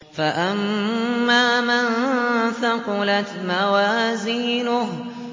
فَأَمَّا مَن ثَقُلَتْ مَوَازِينُهُ